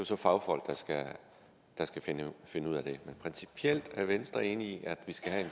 så fagfolk der skal finde finde ud af det men er venstre principielt enig i at vi skal have